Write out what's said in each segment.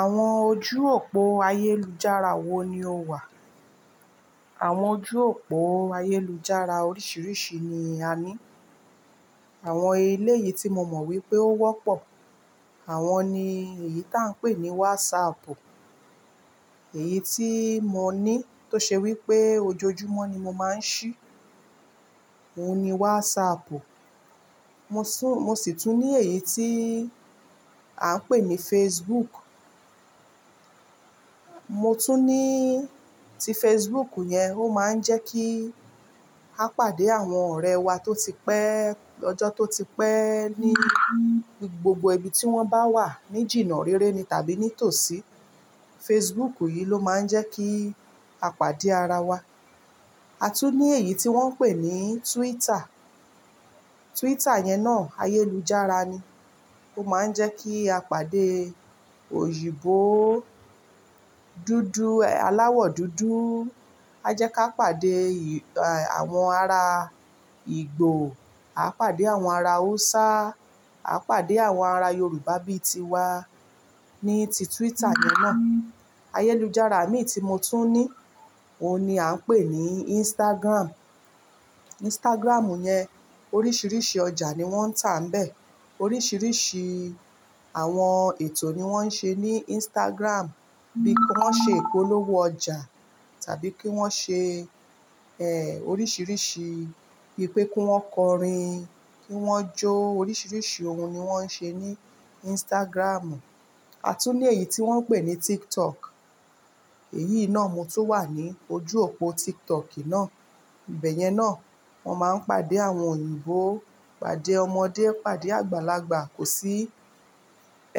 Àwọn ojú òpó ayélujára wo ni ó wà? Àwọn ojú òpó ayélujára oríṣiríṣi ni a ní. Àwọn eléyìí tí mo mọ̀ wípé ó wọ́pọ̀, àwọn ni èyí táa ń pè ní WhatsApp. Èyí tí mo ní tó ṣe wípé ojoojúmọ́ ni mo máa ń ṣí, òun ni WhatsApp. Mo sì tún ní èyí tí à ń pè ní Facebook. Mo tún ní tí Facebook yẹn ó máa ń jẹ́ kí a pàdé àwọn ọ̀rẹ́ wa tó ti pẹ́, ọjọ́ tó ti pẹ́ ní gbogbo ibi tí wọ́n bá wà ní jìnnà réré ni tàbí nítòsí. Facebook yìí ló máa ń jẹ́ kí a pàdé ara wa. A tún ní èyí tí wọ́n ń pè ní Twitter. Twitter yẹn náà ayélujára ni. Ó máa ń jẹ́ kí a pàdé òyìnbó dúdú, aláwọ̀ dúdú. A jẹ́ ká pàdé àwọn ará Ìgbò, a pàdé àwọn ará Hausa, a pàdé àwọn ará Yorùbá bíi tiwa ní ti Twitter yẹn náà. Ayélujára mi tí mo tún ní, òun ni à ń pè ní Instagram. Instagram yẹn oríṣiríṣi ọjà ni wọ́n ń tà níbẹ̀. Oríṣiríṣi àwọn ètò ni wọ́n ń ṣe ní Instagram. Bí wọ́n ṣe ìpolówó ọjà tàbí kí wọ́n ṣe oríṣiríṣi bi wìpé kí wọ́n kọrin kí wọ́n jó. Oríṣiríṣi ohun ni wọ́n ń ṣe ní Instagram. A tún ní èyí tí wọ́n ń pè ní TikTok. Èyí náà mo tún wà ní ojú òpó TikTok náà. Ìbẹ̀yẹn náà wọ́n máa ń pàdé àwọn òyìnbó, pàdé ọmọdé, pàdé àgbàlagbà. Kò sí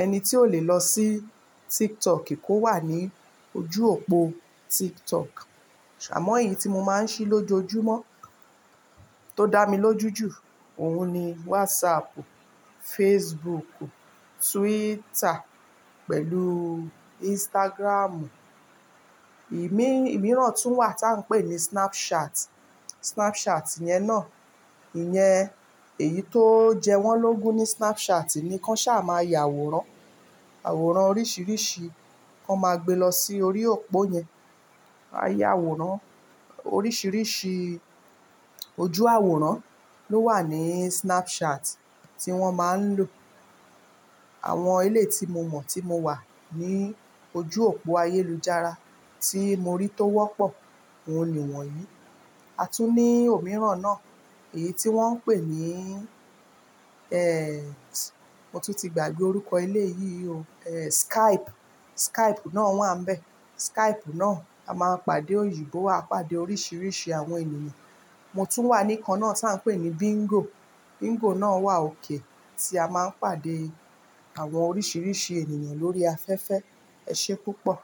ẹni tí ò le lọ sí TikTok kó wà ní ojú òpó TikTok. Àmọ́ èyí tí mo máa ń ṣí lójoojúmọ́ tó dá mi lójú jù, òun ni WhatsApp, Facebook, Twitter pẹ̀lú Instagram. Ìmíràn tún wà táa ń pè ní Snapchat. Snapchat yẹn náà, ìyẹn èyí tó ń jẹ wọ́n lógun ní Snapchat ni kàn sá máa ya àwòrán. Àwòrán oríṣiríṣi kàn máa gbé lọ sí orí òpó yẹn. A ya àwòrán. Oríṣiríṣi ojú àwòrán ló wà ní Snapchat tí wọ́n máa ń lò. Àwọn eleyii tí mo mọ̀ tí mo wà ní ojú òpó ayélujára tí mo rí tó wọ́pọ̀ òun ni wọ̀nyí. A tún ní òmíràn náà, èyí tí wọ́n ń pè ní, mo tún ti gbàgbé orúkọ eléyìí o. Eh, Skype. Skype náà wà níbẹ̀. Skype náà a máa pàdé òyìnbó, a pàdé oríṣiríṣi àwọn ènìyàn. Mo tún wà ní ikan náà táa ń pè ní Bingo. Bingo náà wà okay tí a máa ń pàdé àwọn oríṣiríṣi ènìyàn lórí afẹ́fẹ́. Esé púpọ̀?